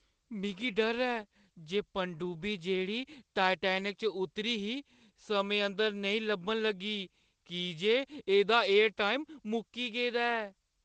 मिगी डर ऐ जे पनडुब्बी जेह्ड़ी टाइटैनिक च उतरी ही, समें अंदर नेईं लब्भन लगी की जे एह्दा एयर टाइम मुक्की गेदा ऐ।